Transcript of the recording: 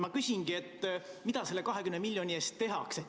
Ma küsingi, mida selle 20 miljoni eest tehakse.